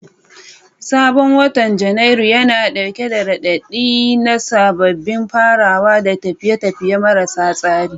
Sabon watan Janairu yana dauke da raɗaɗi na sababbin farawa da tafiye-tafiye marasa tsari.